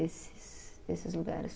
Esses. Esses lugares.